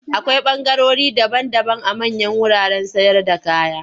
Akwai ɓangarori daban-daban a manyan wuraren sayarda kaya.